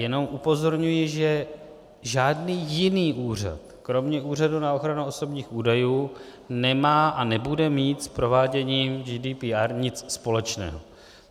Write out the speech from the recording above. Jenom upozorňuji, že žádný jiný úřad kromě Úřadu pro ochranu osobních údajů nemá a nebude mít s prováděním GDPR nic společného.